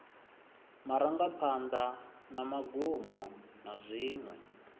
marangaphanḓa na magumo na dziṅwe